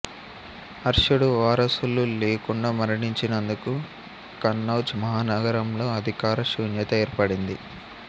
హర్షుడు వారసులు లేకుండా మరణించినందున కన్నౌజ్ మహానగరంలో అధికార శూన్యత ఏర్పడింది